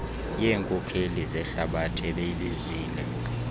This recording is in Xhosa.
yeenkokeli zehlabathi obeyibizile